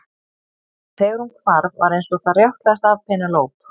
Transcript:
En þegar hún hvar var eins og það rjátlaði af Penélope.